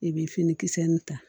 I bɛ fini kisɛ nin ta